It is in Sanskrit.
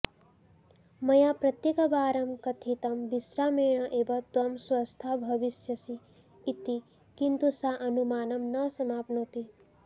मया प्रत्येकवारं कथितं विश्रामेण एव त्वं स्वस्था भविष्यसि इति किन्तु सा अनुमानं न समाप्नोति